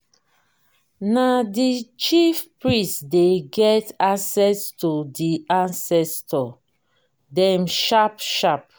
na di chief priest dey get access to di ancestor dem sharp-sharp.